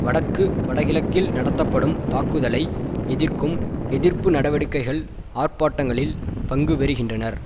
வடக்கு வடகிழக்கில் நடத்தப்படும் தாக்குதலை எதிர்க்கும் எதிர்ப்பு நடவடிக்கைகள் ஆர்ப்பாட்டங்களில் பங்கு பெறுகின்றனர்